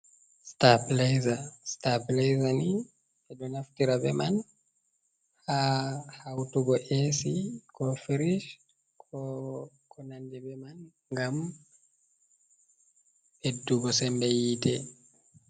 starplayzani be do naftira be man ha hautugo Ac ko firish ,konandi be man gam ɓeddugo sembe yite.